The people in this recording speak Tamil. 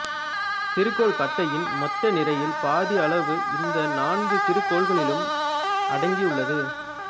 சிறுகோள் பட்டையின் மொத்த நிறையில் பாதி அளவு இந்த நான்கு சிறு கோள்களிலும் அடங்கியுள்ளது